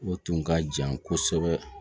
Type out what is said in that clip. O tun ka jan kosɛbɛ